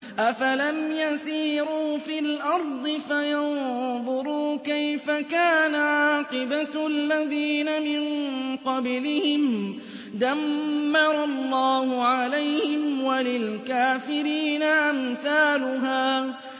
۞ أَفَلَمْ يَسِيرُوا فِي الْأَرْضِ فَيَنظُرُوا كَيْفَ كَانَ عَاقِبَةُ الَّذِينَ مِن قَبْلِهِمْ ۚ دَمَّرَ اللَّهُ عَلَيْهِمْ ۖ وَلِلْكَافِرِينَ أَمْثَالُهَا